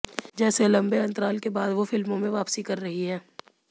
जैसे लंबे अंतराल के बाद वो फिल्मों में वापसी कर रही हैं